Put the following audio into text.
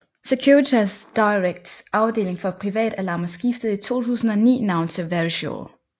Securitas Directs afdeling for privatalarmer skiftede i 2009 navn til Verisure